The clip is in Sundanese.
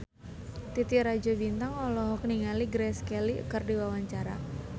Titi Rajo Bintang olohok ningali Grace Kelly keur diwawancara